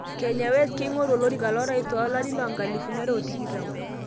Kenye West keingoru olerika lorais 2020